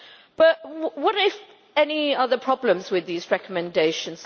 But what of the problems with these recommendations?